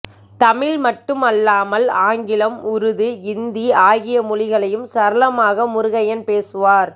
தமிழ் மட்டும் அல்லாமல் ஆங்கிலம் உருது இந்தி ஆகியமொழிகளையும் சரளமாக முருகையன் பேசுவார்